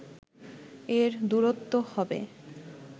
এর দূরত্ব হবে